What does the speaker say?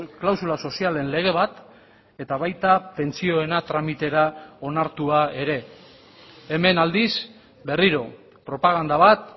klausula sozialen lege bat eta baita pentsioena tramitera onartua ere hemen aldiz berriro propaganda bat